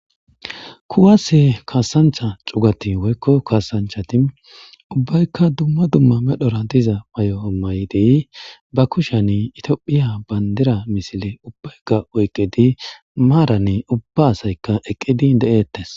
kuwase kaasancha cugati woykko kaasanchati ubbaykka dumma dumma medhora diza may7o7o may7dey ba kushan itophiya bandira misile ubbayga oyqidi maaranne ubba asaykka eqqidi de7ettes